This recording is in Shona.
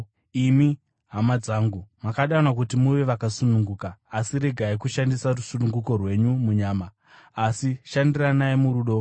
Imi, hama dzangu, makadanwa kuti muve vakasununguka. Asi regai kushandisa rusununguko rwenyu munyama; asi shandiranai murudo.